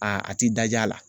A a ti daj'a la.